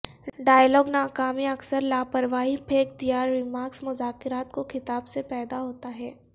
dialogue ناکامی اکثر لاپرواہی پھینک دیا ریمارکس مذاکرات کو خطاب سے پیدا ہوتا ہے